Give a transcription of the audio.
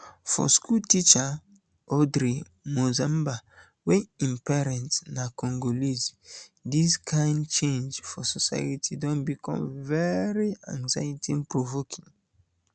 for schoolteacher um audrey monzemba wey im parent um na congolese dis kain change for society don become very anxietyprovoking